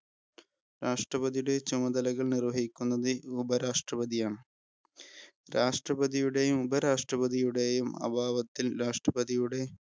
രാഷ്ട്രപതിയുടെ ചുമതലകൾ നിർവഹിക്കുന്നത് ഉപരാഷ്ട്രപതിയാണ്. രാഷ്ട്രപതിയുടെയും, ഉപരാഷ്ട്രപതിയുടെയും അഭാവത്തിൽ